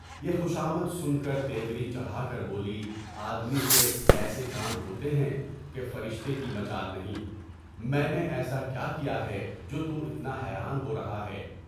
یہ خوشامد سن کر تیوری چڑھا کر بولی، آدمی سے کام ہوتے ہیں کہ فرشتے کی مجال نہیں، میں نے ایسا کیا ہے جو تُم اتنا حیران ہو رہے ہو؟